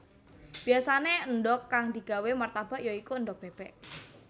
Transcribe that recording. Biyasané endhog kang digawé martabak ya iku endhog bébék